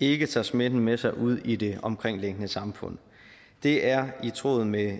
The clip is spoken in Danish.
ikke tager smitten med sig ud i det omkringliggende samfund det er i tråd med